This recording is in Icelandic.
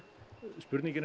spurningin